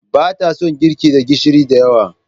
Ba ta son girki da gishiri da yawa.